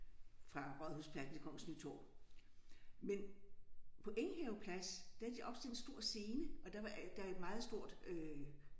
Fra Rådhuspladsen til Kongens Nytorv men på Enghave Plads der havde de opstillet en stor scene og der var der er et meget stor øh